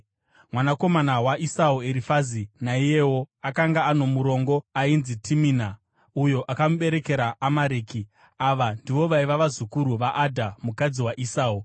Mwanakomana waEsau, Erifazi naiyewo akanga ano murongo ainzi Timina, uyo akamuberekera Amareki. Ava ndivo vaiva vazukuru vaAdha, mukadzi waEsau.